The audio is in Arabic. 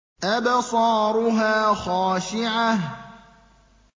أَبْصَارُهَا خَاشِعَةٌ